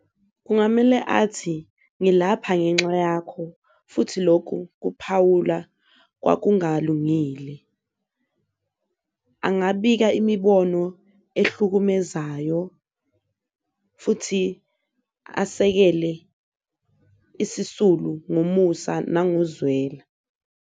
Kungamele athi ngilapha ngenxa yakho futhi lokhu kuphawula kwakungalungile, angabika imibono elihlukumezayo futhi asekele isisulu ngomusa nangokozwelo.